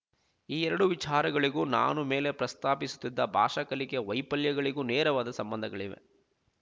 ಈ ಎರಡು ವಿಚಾರಗಳಿಗೂ ನಾನು ಮೇಲೆ ಪ್ರಸ್ತಾಪಿಸುತ್ತಿದ್ದ ಭಾಷಾ ಕಲಿಕೆಯ ವೈಫಲ್ಯಗಳಿಗೂ ನೇರವಾದ ಸಂಬಂಧಗಳಿವೆ